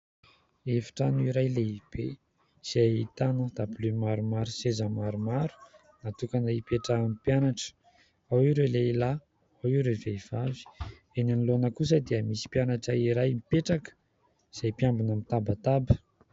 Efitrano iray lehibe izay ahitana dabilio maromaro. Seza maromaro natokana ipetrahan'ny mpianatra ao ireo lehilahy ao ireo vehivavy ; eny anoloana kosa dia misy mpianatra iray mipetraka izay mpiambina mitabataba.